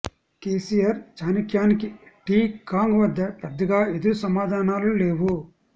కేసీఆర్ చాణక్యానికి టీ కాంగ్ వద్ద పెద్దగా ఎదురు సమాధానాలు లేవు